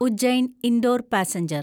Ujjain Indore passenger